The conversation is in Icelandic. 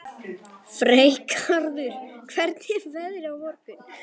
Freygarður, hvernig er veðrið á morgun?